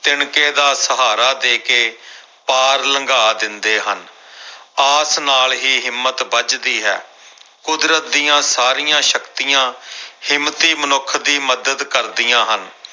ਤਿਣਕੇ ਦਾ ਸਹਾਰਾ ਦੇ ਕੇ ਪਾਰ ਲੰਘਾ ਦਿੰਦੇ ਹਨ ਆਸ ਨਾਲ ਹੀ ਹਿੰਮਤ ਬੱਝਦੀ ਹੈ ਕੁਦਰਤ ਦੀਆਂ ਸਾਰੀਆਂ ਸ਼ਕਤੀਆਂ ਹਿੰਮਤੀ ਮਨੁੱਖ ਦੀ ਮਦਦ ਕਰਦੀਆਂ ਹਨ।